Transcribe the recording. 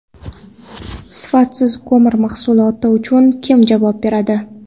Sifatsiz ko‘mir mahsuloti uchun kim javob beradi?.